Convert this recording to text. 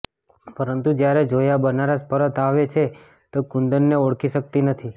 પરંતુ જ્યારે જોયા બનારસ પરત આવે છે તો કુંદનને ઓળખી શકતી નથી